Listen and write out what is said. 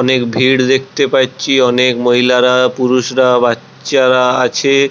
অনেক ভিড় দেখতে পাচ্ছি অনেক মহিলারা পুরুষরা. বাচ্চারা আছে--